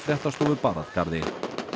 fréttastofu bar að garði